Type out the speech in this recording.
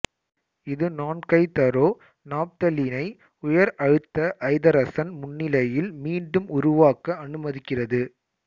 இது நான்கைதரோநாப்தலீனை உயர் அழுத்த ஐதரசன் முன்னிலையில் மீண்டும் உருவாக்க அனுமதிக்கிறது